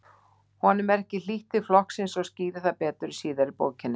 Honum er ekki hlýtt til flokksins og skýrir það betur síðar í bókinni.